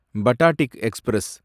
படாட்டிக் express